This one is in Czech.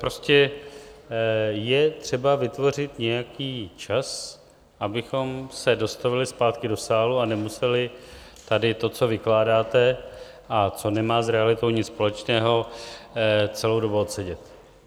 Prostě je třeba vytvořit nějaký čas, abychom se dostavili zpátky do sálu a nemuseli tady to, co vykládáte a co nemá s realitou nic společného, celou dobu odsedět.